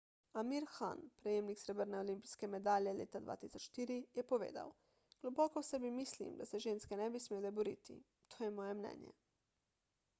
amir khan prejemnik srebrne olimpijske medalje leta 2004 je povedal globoko v sebi mislim da se ženske ne bi smele boriti to je moje mnenje